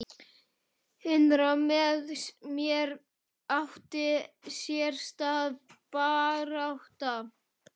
Innra með mér átti sér stað barátta.